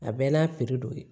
A bɛɛ n'a piri dɔ ye